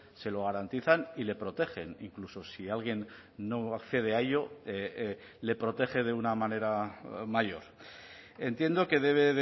se lo garantizan y le protegen incluso si alguien no accede a ello le protege de una manera mayor entiendo que debe